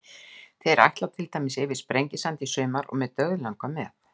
Þeir ætla til dæmis yfir Sprengisand í sumar og mig dauðlangar með.